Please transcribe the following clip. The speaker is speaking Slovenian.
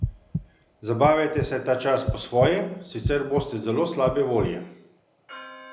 Zabavajte se ta čas po svoje, sicer boste zelo slabe volje.